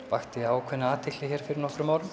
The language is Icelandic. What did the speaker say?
vakti ákveðna athygli hér fyrir nokkrum árum